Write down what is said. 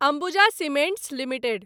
Ambuja cements limited